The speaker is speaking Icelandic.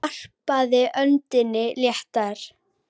Hann varpaði öndinni léttar.